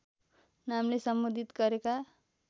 नामले सम्बोधित गरेका